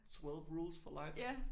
Twelve rules for life?